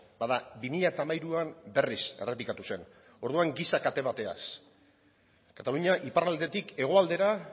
bada bi mila hamairuan berriz errepikatu zen orduan giza kate bategaz katalunia iparraldetik hegoaldera